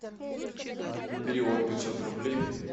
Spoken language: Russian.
перевод пятьсот рублей